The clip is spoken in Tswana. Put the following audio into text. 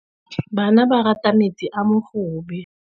Bana ba rata metsi a mogobe.